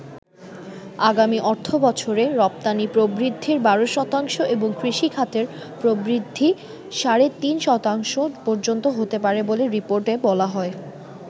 আগামি অর্থবছরে রপ্তানি প্রবৃদ্ধি ১২ শতাংশ এবং কৃষি খাতের প্রবৃদ্ধি সাড়ে তিন শতাংশ পর্যন্ত হতে পারে বলে রিপোর্টে বলা হয়।